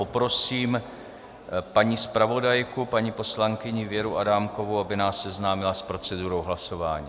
Poprosím paní zpravodajku, paní poslankyni Věru Adámkovou, aby nás seznámila s procedurou hlasování.